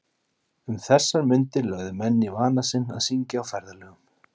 Um þessar mundir lögðu menn í vana sinn að syngja á ferðalögum.